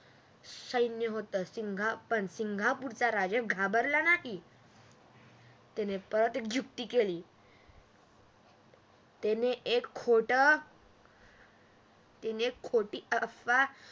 सैन्य होतं पण सिंगापूर चा राजा घाबरला नाही परत एक युक्ती केली त्यानं एक खोटी अफवा पसरवली